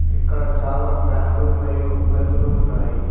ఇక్కడ చాలా ఫ్యాన్లు మరియు బల్బులు ఉన్నాయి.